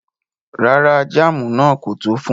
Rárá, jàmù náà kò tó fún wà.